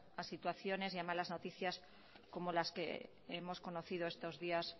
a situaciones y a malas noticias como las que hemos conocido estos días